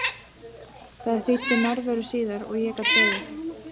Þær þýddu nærveru síðar og ég gat beðið.